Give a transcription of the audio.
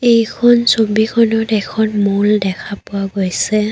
এইখন ছবিখনত এখন মল দেখা পোৱা গৈছে।